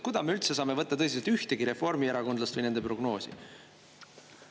Kuidas me üldse saame võtta tõsiselt ühtegi reformierakondlast või nende prognoosi?